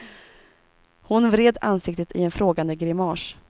Hon vred ansiktet i en frågande grimas.